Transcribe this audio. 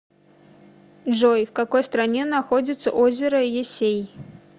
джой в какой стране находится озеро ессей